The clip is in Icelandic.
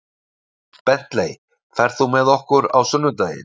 Bentley, ferð þú með okkur á sunnudaginn?